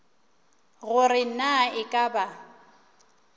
gore na e ka ba